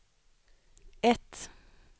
ett